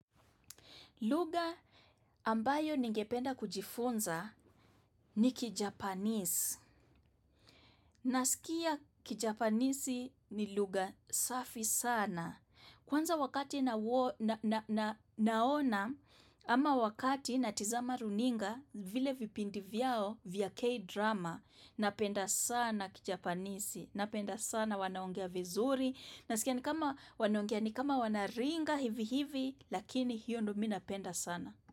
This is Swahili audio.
Lugha ambayo ningependa kujifunza ni kijapanisi. Nasikia kijapanisi ni lugha safi sana. Kwanza wakati nawo na naona ama wakati natizama runinga vile vipindi vyao vya K-drama. Napenda sana kijapanisi. Napenda sana wanaongea vizuri. Nasikia ni kama wanaongea ni kama wanaringa hivi hivi lakini hiyo ndo mi napenda sana.